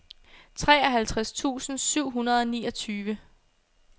treoghalvtreds tusind syv hundrede og niogtyve